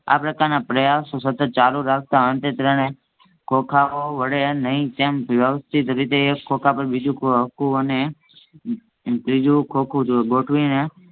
આ પ્રકારના પ્રયાસો સતત ચાલુ રાખતાં અંતે ત્રણ ખોખાંઓ વડે નહીં તેમ વસ્થિત રીતે એક ખોખા પર બીજુ ખોકુ અને ત્રીજું ખોખું ગોઠવીને